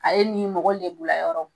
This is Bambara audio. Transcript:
A ye nin mɔgɔ lebulayɔrɔw